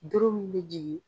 Doro mun bɛ jigin